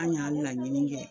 An y'a laɲini kɛ